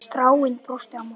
Stjáni brosti á móti.